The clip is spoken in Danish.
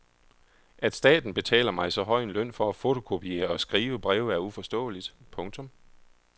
At staten betaler mig så høj en løn for at fotokopiere og skrive breve er uforståeligt. punktum